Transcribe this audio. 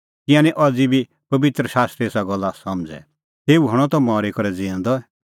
तिंयां निं अज़ी बी पबित्र शास्त्रे एसा गल्ला समझ़ै तेऊ हणअ त मरी करै ज़िऊंदै